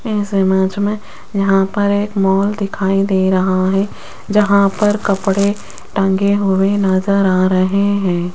इस इमेज में यहां पर एक मॉल दिखाई दे रहा है जहां पर कपड़े टंगे हुए नजर आ रहे हैं।